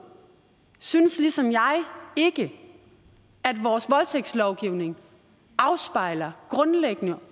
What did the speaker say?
synes ligesom jeg ikke at vores voldtægtslovgivning afspejler grundlæggende